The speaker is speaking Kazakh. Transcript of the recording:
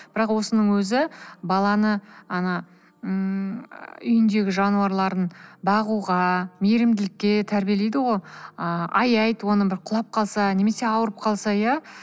бірақ осының өзі баланы ана ыыы үйіндегі жануарларын бағуға мейірімділікке тәрбиелейді ғой ыыы аяйды оны бір құлап қалса немесе ауырып қалса иә